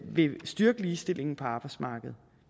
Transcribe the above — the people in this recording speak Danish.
vil styrke ligestillingen på arbejdsmarkedet